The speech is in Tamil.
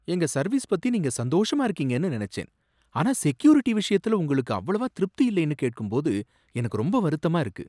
எங்க சர்வீஸ பத்தி நீங்க சந்தோஷமா இருக்கீங்கன்னு நினைச்சேன், ஆனா செக்யூரிட்டி விஷயத்துல உங்களுக்கு அவ்வளவா திருப்தி இல்லைன்னு கேட்கும்போது எனக்கு ரொம்ப வருத்தமா இருக்கு.